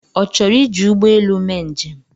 Ọ chọrọ iji ụgbọelu mee njem?